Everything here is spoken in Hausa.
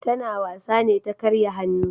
Ta na wasa ne ta karya hannu